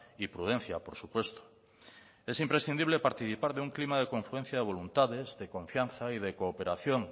y prudencia por supuesto es imprescindible participar de un clima de confluencia de voluntades de confianza y de cooperación